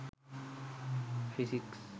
physics